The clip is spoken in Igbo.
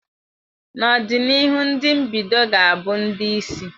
N'ọdịnihu ndị mbido ga-abụ ndị isi.